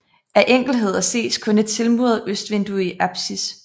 Af enkeltheder ses kun et tilmuret østvindue i apsis